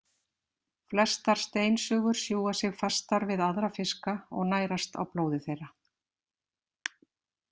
Flestar steinsugur sjúga sig fastar við aðra fiska og nærast á blóði þeirra.